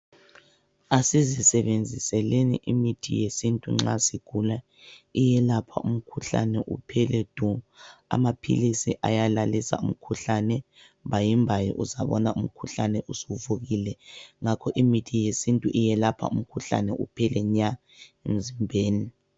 Asizisebenziseleni imithi yesintu nxa sigula iyelapha umkhuhlane iphele du. Amaphilizi ayalalisa umkhuhlane mbayimbayi uzabona umkhuhlane usuvukile. Ngakho-ke imithi yesintu iyelapha umkhuhlane uphele nya emzimbeni.